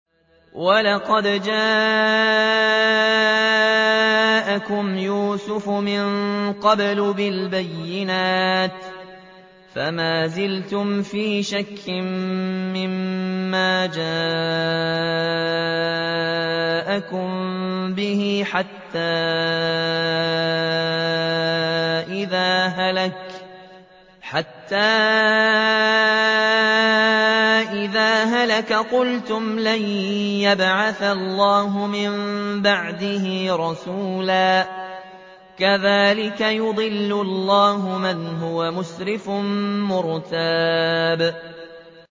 وَلَقَدْ جَاءَكُمْ يُوسُفُ مِن قَبْلُ بِالْبَيِّنَاتِ فَمَا زِلْتُمْ فِي شَكٍّ مِّمَّا جَاءَكُم بِهِ ۖ حَتَّىٰ إِذَا هَلَكَ قُلْتُمْ لَن يَبْعَثَ اللَّهُ مِن بَعْدِهِ رَسُولًا ۚ كَذَٰلِكَ يُضِلُّ اللَّهُ مَنْ هُوَ مُسْرِفٌ مُّرْتَابٌ